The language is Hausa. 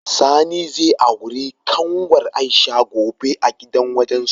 Sani zai auri kanwar Aisha gobe a gidan wajensu.